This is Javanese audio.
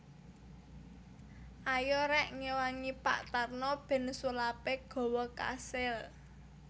Ayo rek ngewangi Pak Tarno ben sulape gawa kasil